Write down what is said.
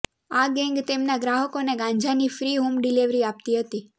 આ ગેંગ તેમના ગ્રાહકોને ગાંજાની ફ્રી હોમ ડિલીવરી આપતી હતીં